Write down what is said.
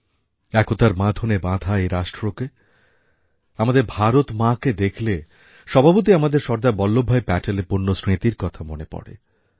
একতার বাঁধনে বাঁধা এই রাষ্ট্রকে আমাদের ভারত মাকে দেখলে স্বভাবতই আমাদের সর্দার বল্লভভাই প্যাটেলের পুণ্যস্মৃতির কথা মনে পড়ে